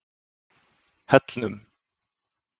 Hellnum